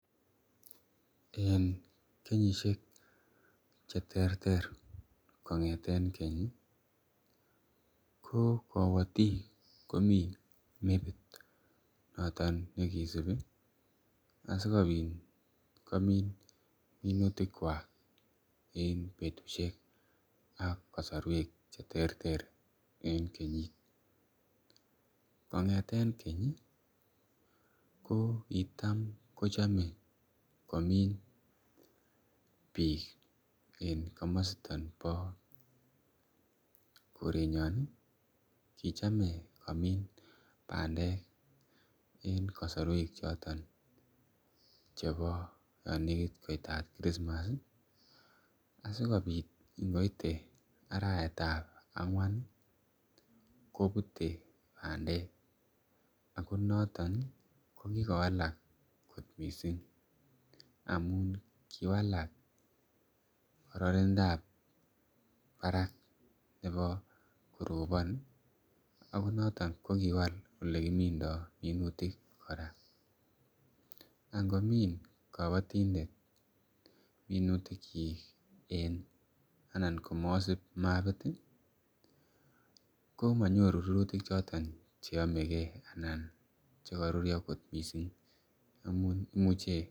En kenyisiek cheterter kong'eten keny ih ko kabotik komiten mepit noton nekisibi ih asikobit komin minutik kuak en betusiek ak kasaruek , cheterter en kenyit. Kong'eten kong'eten keny ih ko kitam kochame komin, bik en kamasto bo korenyon ih , chame komin bandek en kasaruek choton chebo yaan nekit koitar Christmas ih asikobit ingoite arawetab ang'uan ih , kobute bandek ako noton ih , kokikowalak kot missing amuun kiwalak karanintab barak nebo koroban ih , ako noton ko kiwal olekiminto minutik kora . Angomin kabatindet minutikyik ih , komasub mabit ih , komanyoru rurutik choton cheamege. Anan chekarurio kot missing anan imuche .